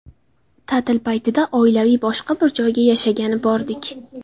Ta’til paytida oilaviy boshqa bir joyga yashagani bordik.